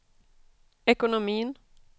ekonomin